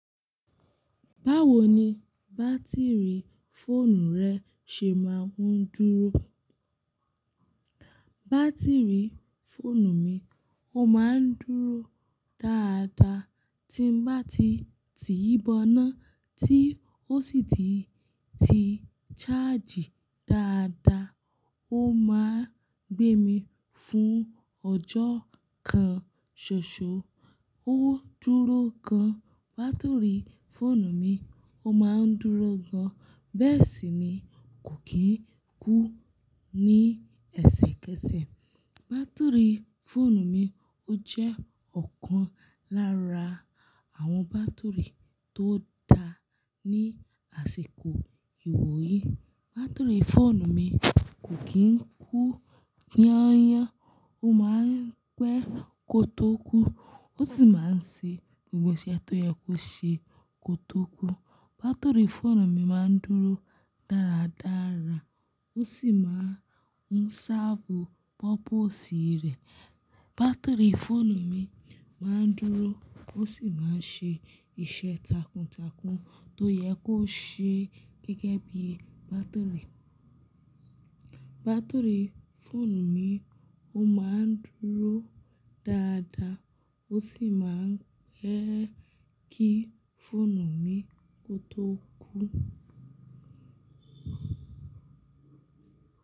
Báwo ni bátìrì fóònù rẹ ṣe máa ń dúró? Bátìrì fóònù mi ó máa ń dúró dáadáa. Tí bá ti tìí bọná tí ó sì ti ṣáàjì dáadáa, ó máa ń gbé mi fún ọjọ́ kan, ṣoṣo ó dúró gan. Bátìrì fóònù mi ó máa ń dúró gan, bẹ́ẹ̀ sì ni kò kí ń kú ní ẹsẹkẹsẹ. Bátìrì fóònù mi ó jẹ́ ọ̀kan lára àwọn bátìrì tó dáa ní àsìkò ìwò yìí. Bátìrì fóònù mi kò kí ń kú yan-an yán, ó máa ń pẹ́ kó tó kú, ó sì máa ń ṣe gbogbo iṣẹ́ tó yẹ kó ṣe kó tó kú. Bátìrì fóònù mi máa ń dúró dáradára, ó sì máa ń sáàfù pọ́pọ̀sì rẹ̀. Bátìrì fóònù mi máa ń dúró, ó sì máa ń ṣe iṣẹ́ takuntakun tó yẹ kó ṣe gẹ́gẹ́ bí bátìrì. Bátìrì fóònù mi ó máa ń dúró dáadáa, ó sì máa ń pẹ́ kí fóònù mi kó tó kú.